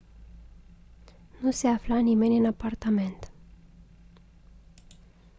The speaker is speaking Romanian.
nu se afla nimeni în apartament